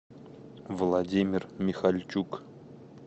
владимир михальчук